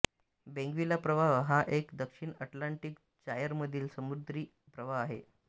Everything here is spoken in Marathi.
बेंग्विला प्रवाह हा एक दक्षिण अटलांटिक जायर मधील समुद्री प्रवाह आहे